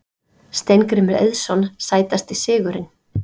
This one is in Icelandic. Steingrímur Eiðsson Sætasti sigurinn?